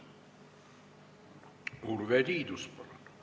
Urve Tiidus, palun!